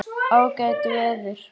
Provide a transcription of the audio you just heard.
Ágætt veður.